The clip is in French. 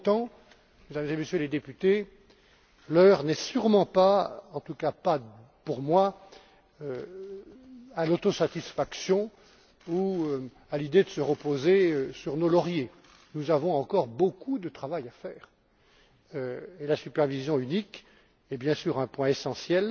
Pour autant, Mesdames et Messieurs les députés, l'heure n'est sûrement pas en tout cas pas pour moi à l'autosatisfaction ou à l'idée de se reposer sur nos lauriers nous avons encore beaucoup de travail à faire. La supervision unique est, bien sûr, un point essentiel,